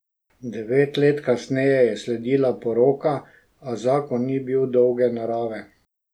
Devet let kasneje je sledila poroka, a zakon ni bil dolge narave.